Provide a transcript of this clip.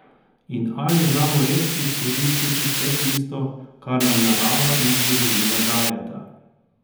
In ali znamo res izkoristiti vse tisto, kar nam narava in zgodovina dajeta?